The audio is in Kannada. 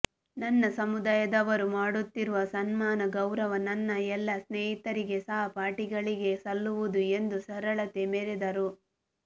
ನನ್ನ ಸಮುದಾಯದವರು ಮಾಡುತ್ತಿರುವ ಸನ್ಮಾನ ಗೌರವ ನನ್ನ ಎಲ್ಲಾ ಸ್ನೇಹಿತರಿಗೆ ಸಹಪಾಠಿಗಳಿಗೆ ಸಲ್ಲುವುದು ಎಂದು ಸರಳತೆ ಮೆರೆದರು